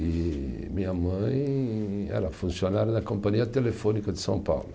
E minha mãe era funcionária da Companhia Telefônica de São Paulo.